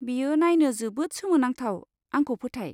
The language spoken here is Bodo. बेयो नायनो जोबोद सोमोनांथाव, आंखौ फोथाय।